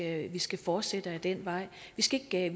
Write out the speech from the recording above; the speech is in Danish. at vi skal fortsætte ad den vej vi skal ikke